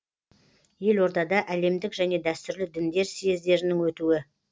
елордада әлемдік және дәстүрлі діндер съездерінің өтуі